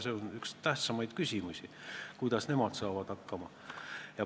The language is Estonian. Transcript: See on üks tähtsamaid küsimusi, kuidas omavalitsused hakkama saavad.